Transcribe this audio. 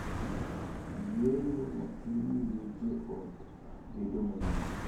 Yueyo matin miyo jo ot bedo mayom,